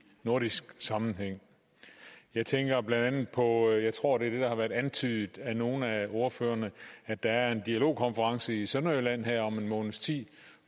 nordisk sammenhæng jeg tænker blandt andet på og jeg tror det er det der har været antydet af nogle af ordførerne at der er en dialogkonference i sønderjylland her om en måneds tid